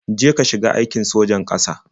Je ka shiga aikin sojan ƙasa.